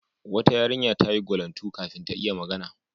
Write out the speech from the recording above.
Wata yarinya ta yi gwalantu kafin ta iya magana.